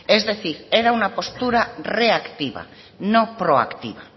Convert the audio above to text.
es decir era una postura reactiva no proactiva